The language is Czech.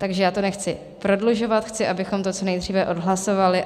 Takže já to nechci prodlužovat, chci, abychom to co nejdříve odhlasovali.